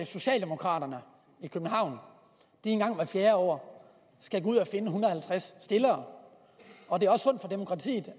socialdemokraterne i københavn en gang hvert fjerde år skal gå ud og finde en hundrede og halvtreds stillere og